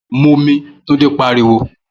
Momi!' Túndé pariwo